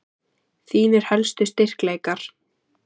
Þínir helstu styrkleikar?